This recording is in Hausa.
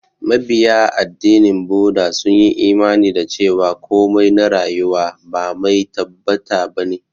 Mabiya addinin Buda sun yi imani da cewa komai na rayuwa ba mai tabbata ba ne.